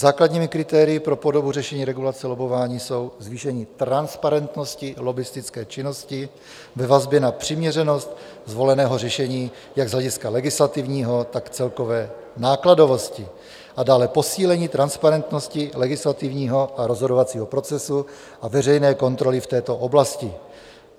Základními kritérii pro podobu řešení regulace lobbování jsou zvýšení transparentnosti lobbistické činnosti ve vazbě na přiměřenost zvoleného řešení jak z hlediska legislativního, tak celkové nákladovosti a dále posílení transparentnosti legislativního a rozhodovacího procesu a veřejné kontroly v této oblasti.